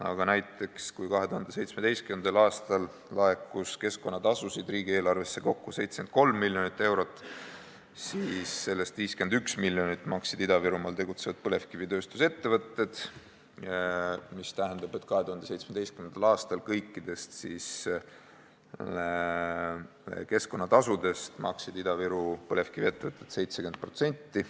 Aga näiteks, kui 2017. aastal laekus keskkonnatasusid riigieelarvesse kokku 73 miljonit eurot, siis sellest 51 miljonit maksid Ida-Virumaal tegutsevad põlevkivitööstuse ettevõtted, mis tähendab, et 2017. aasta kõikidest keskkonnatasudest maksid Ida-Viru põlevkiviettevõtted 70%.